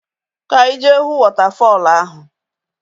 Ka any jee huu wọtafọl ahu!